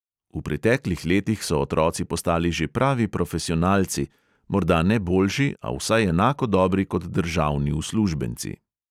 V preteklih letih so otroci postali že pravi profesionalci, morda ne boljši, a vsaj enako dobri kot državni uslužbenci.